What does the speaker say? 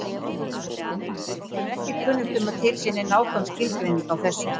Okkur er ekki kunnugt um að til sé nein nákvæm skilgreining á þessu.